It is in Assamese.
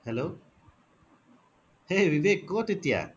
hello hey ৱিৱেক ক'ত এতিয়া